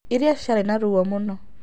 Iria ciarĩ na ruo mũno.